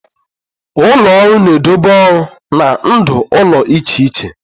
Ụlọ ọrụ na-edobe ọrụ na ndụ ụlọ iche iche.